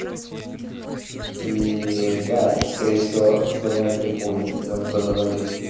и да это скорее всего раздавали ой раздавали продавали